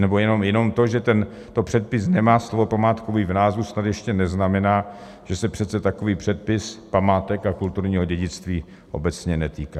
Nebo jenom to, že tento předpis nemá slovo památkový v názvu, snad ještě neznamená, že se přece takový předpis památek a kulturního dědictví obecně netýká!